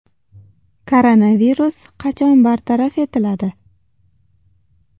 Koronavirus qachon bartaraf etiladi?